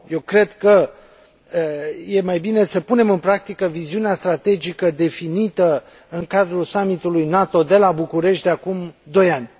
Eu cred că e mai bine să punem în practică viziunea strategică definită în cadrul summitului NATO de la București de acum doi ani.